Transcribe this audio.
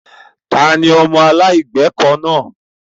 Ta ni ọmọ aláìlẹ́kọ̀ọ́ náà?